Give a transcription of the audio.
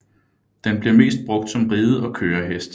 Den bliver mest brugt som ride og kørehest